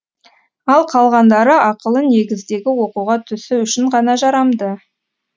ал қалғандары ақылы негіздегі оқуға түсу үшін ғана жарамды